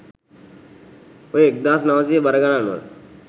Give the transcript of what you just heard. ඔය එක්දාස් නවසිය බර ගණන්වල